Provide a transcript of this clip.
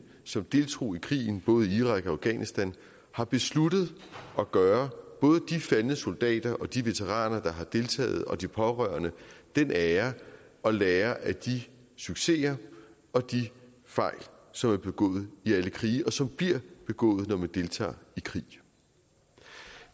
som deltog i krigen både i irak og i afghanistan har besluttet at gøre både de faldne soldater og de veteraner der har deltaget og de pårørende den ære at lære af de succeser og de fejl som er begået i alle krige og som bliver begået når man deltager i krig